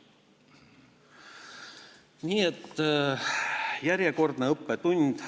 Nii et järjekordne õppetund.